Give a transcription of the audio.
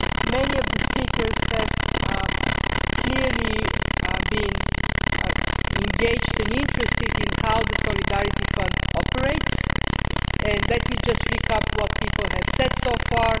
Many of the speakers have clearly been engaged and interested in how the Solidarity Fund operates, so let me just recap what people have said so far.